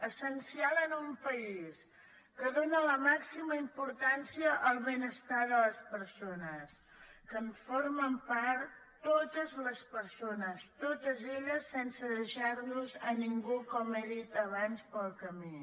essencial en un país que dóna la màxima importància al benestar de les persones que en formen part totes les persones totes elles sense deixar nos ningú com he dit abans pel camí